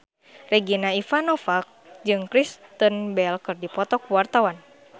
Regina Ivanova jeung Kristen Bell keur dipoto ku wartawan